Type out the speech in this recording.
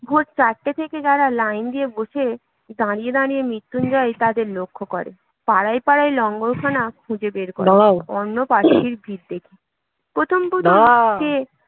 ভোর চারটে থেকে যারা লাইন দিয়ে বসে, দাঁড়িয়ে দাঁড়িয়ে মৃত্যুঞ্জয় তাদের লক্ষ্য করে পাড়ায় পাড়ায় লঙ্গরখানা খুঁজে বের করে অন্নপ্রার্থীর ভিড় দেখে প্রথম প্রথম সে